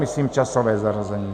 Myslím časové zařazení.